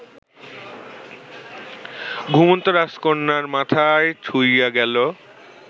ঘুমন্ত রাজকন্যার মাথায় ছুঁইয়া গেল